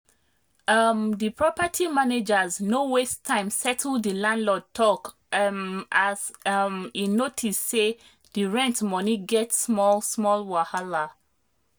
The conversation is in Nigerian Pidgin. um the property managers no waste time settle the landlord talk um as um e notice say the rent money get small-small wahala.